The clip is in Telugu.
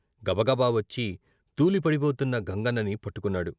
గబగబా వచ్చి తూలిపడిబోతున్న గంగన్నని పట్టుకున్నాడు.